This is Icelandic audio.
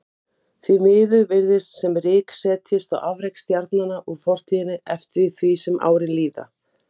Gunnsteinn, hvenær kemur leið númer tuttugu og þrjú?